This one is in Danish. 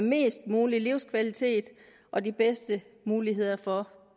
mest mulig livskvalitet og de bedste muligheder for